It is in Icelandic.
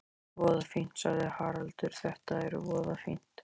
Voða fínt, sagði Haraldur, þetta er voða fínt.